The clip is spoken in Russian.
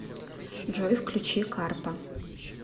джой включи карпа